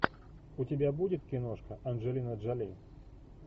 у тебя будет киношка анджелина джоли